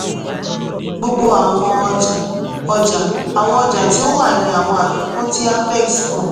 gbogbo awọn ọja ọja / awọn ọja ti o wa ni awọn afikun ti afex fun